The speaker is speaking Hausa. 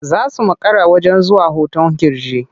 Za su makara zuwa wajen hoton ƙirji.